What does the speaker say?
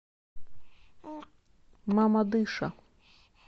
мамадыша